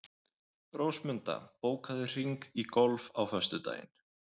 Rósmunda, bókaðu hring í golf á föstudaginn.